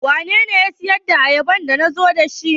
Wanene ya siyar da duka ayabar da nazo da su?